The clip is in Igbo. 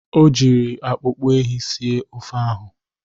O jiri akpụkpọ ehi sie ofe ahụ.